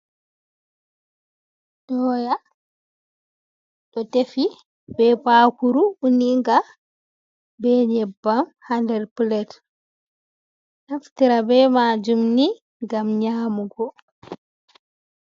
Doya ɓe defi be bakuru uninga, be nyebbam ha nder plat naftira be majum ni gam nyamugo.